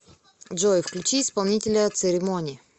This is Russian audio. джой включи исполнителя церемони